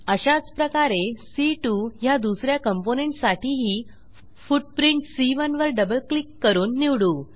अशाच प्रकारे सी2 ह्या दुस या कॉम्पोनेंट साठीही फुटप्रिंट सी1 वर डबल क्लिक करून निवडू